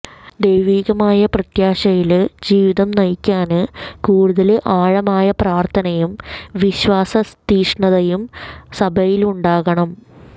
ദൈവികമായ പ്രത്യാശയില് ജീവിതം നയിക്കാന് കൂടുതല് ആഴമായ പ്രാര്ഥനയും വിശ്വാസതീക്ഷ്ണതയും സഭയിലുണ്ടാകണം